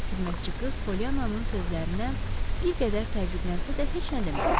Xidmətçi qız Polyannanın sözlərinə bir qədər təəccüblənsə də heç nə demədi.